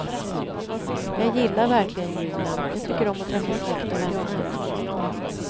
Jag gillar verkligen julen, jag tycker om att träffa släkt och vänner.